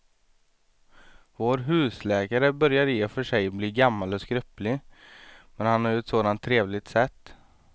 Vår husläkare börjar i och för sig bli gammal och skröplig, men han har ju ett sådant trevligt sätt!